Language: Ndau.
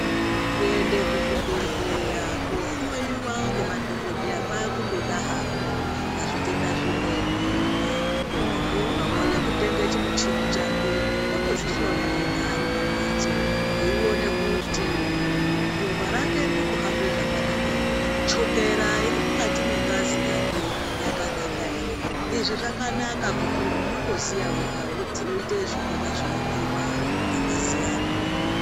Kuende kuzvibhedhlera kohloyiwa ngemadhokodheya kwakundoda hako pazvitenda zvimweni muntu unokone kutenga chimuchini chake otozvihloya ega aripambatso eiona kuti ropa rake ririkuhamba zvakanaka here chukera iri mukati mwengazi yake yakanaka here izvi zvakanaka kuti unotoziya wega woite zvinonga zveidiwa ngengazi yako.